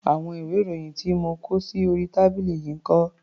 Àwọn ìwé-ìròyìn tí mo kó sí orí tábìlì yìí ń kọ́?